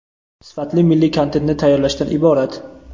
sifatli milliy kontentni tayyorlashdan iborat.